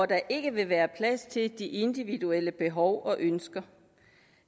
der ikke vil være plads til de individuelle behov og ønsker